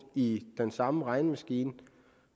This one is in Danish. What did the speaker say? i den samme regnemaskine